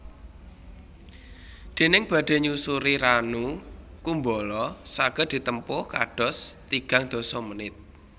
Déning badhe nyusuri Ranu Kumbolo saged ditempuh kados tigang dasa menit